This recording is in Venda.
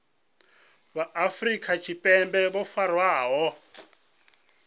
vha afrika tshipembe vho farwaho